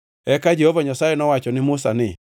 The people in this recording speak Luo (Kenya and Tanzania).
Eka Jehova Nyasaye nowacho ne Musa ni,